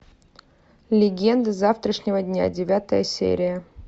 легенды завтрашнего дня девятая серия